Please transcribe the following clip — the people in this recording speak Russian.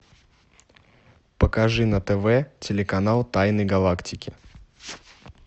покажи на тв телеканал тайны галактики